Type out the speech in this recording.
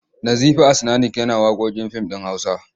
Nazifi As'nanik yana waƙoƙin fim ɗin Hausa.